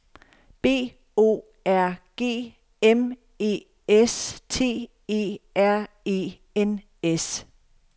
B O R G M E S T E R E N S